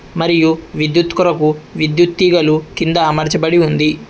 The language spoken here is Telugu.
మరియు విద్యుత్ కొరకు విద్యుత్ తీగలు కింద అమర్చబడి ఉంది.